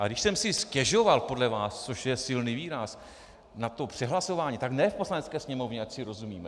A když jsem si stěžoval podle vás, což je silný výraz, na to přehlasování, tak ne v Poslanecké sněmovně, ať si rozumíme.